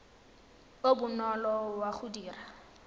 o bonolo wa go dira